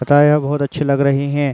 पता है आप बहोत अच्छी लग रही है।